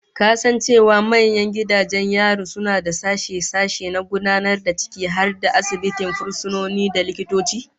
Ka san cewa manyan gidajen yari suna da sashe-sashe na gudanarwa ciki har da asibitin fursunoni, da likitoci?